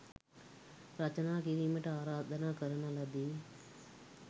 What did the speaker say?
රචනා කිරීමට ආරාධනා කරන ලදී.